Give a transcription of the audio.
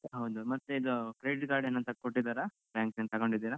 ಹೌದು ಮತ್ತೆ ಇದು credit card ಏನಂತ ಕೊಟ್ಟಿದ್ದಾರ? bank ನಿಂದ ತಕೊಂಡಿದ್ದೀರಾ?